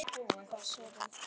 Hvers er að bíða?